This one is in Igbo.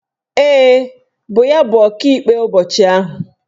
Ee, bụ ya bụ Ọkaikpe ụbọchị ahụ.